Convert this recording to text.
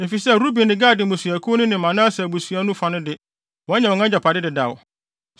efisɛ Ruben ne Gad mmusuakuw no ne Manase abusua no fa no de, wɔanya wɔn agyapade dedaw.